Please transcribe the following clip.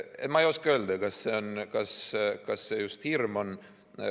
Ma ei oska öelda, kas see just hirm on.